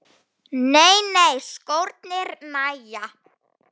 Nei nei, skórnir nægja.